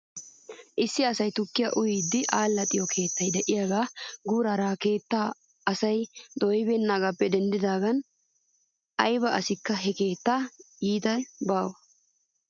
Issi asay tukkiyaa uyiiddi allaxxiyoo keettay de'iyaagee guuraara he keettaa asay dooyibeennaagaappe denddidaagan ayba asikka he keettaa yiiday baawa .